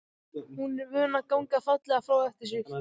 Hún er vön að ganga fallega frá eftir sig.